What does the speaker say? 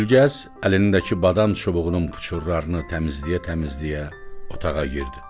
Gülgəz əlindəki badam çubuğunun puçurlarını təmizləyə-təmizləyə otağa girdi.